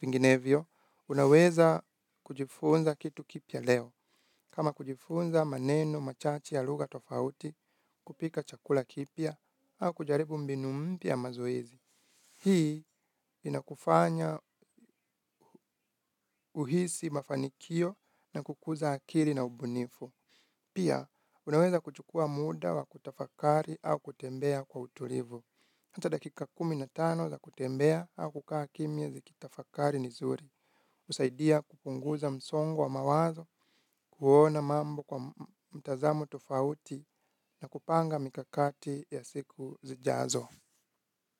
Vinginevyo, unaweza kujifunza kitu kipya leo. Kama kujifunza maneno, machache, ya lugha, tofauti, kupika chakula kipya, au kujaribu mbinu mpya ya mazoezi. Hii inakufanya uhisi mafanikio na kukuza akili na ubunifu. Pia, unaweza kuchukua muda wa kutafakari au kutembea kwa utulivu. Hata dakika kumi na tano za kutembea au kukaa kimya zikitafakari ni zuri. Husaidia kupunguza msongo wa mawazo, kuona mambo kwa mtazamo tofauti na kupanga mikakati ya siku zijazo.